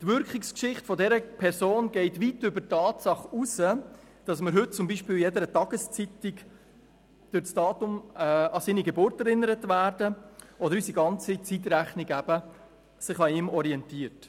Die Wirkungsgeschichte dieser Person geht weit über die Tatsache hinaus, dass wir heute zum Beispiel in jeder Tageszeitung durch das Datum an seine Geburt erinnert werden oder unsere ganze Zeitrechnung sich an ihm orientiert.